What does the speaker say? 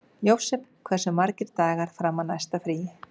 Jósep, hversu margir dagar fram að næsta fríi?